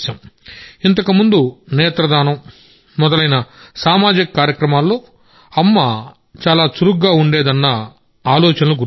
ఇంతకుముందు నేత్ర దానం మొదలైన సామాజిక కార్యక్రమాలలో ఆమె చాలా చురుకుగా ఉండేదన్న మా అమ్మ ఆలోచనలు గుర్తొచ్చాయి